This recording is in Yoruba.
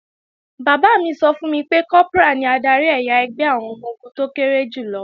Bàbá mi sọ fún mi pé, Kọ́prà ní adarí ẹ̀yà ẹgbẹ́ àwọn ọmọ-ogun tó kéré jù lọ